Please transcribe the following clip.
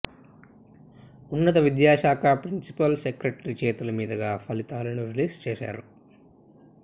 ఉన్నత విద్యాశాఖ principal secretary చేతుల మీదుగా ఫలితాలను రీలీజ్ చేశారు